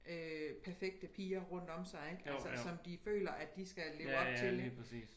Øh perfekte piger rundt om sig ik altså som de føler de skal leve op til ik